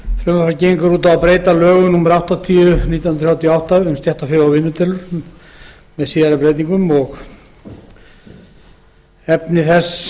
út á að breyta lögum númer áttatíu nítján hundruð þrjátíu og átta um stéttarfélög og vinnudeilur með síðari breytingum efni þess